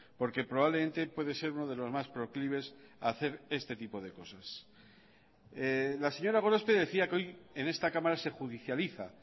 porque probablemente puede ser uno de los más proclives a hacer este tipo de cosas la señora gorospe decía que hoy en esta cámara se judicializa